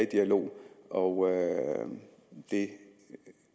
dialog og det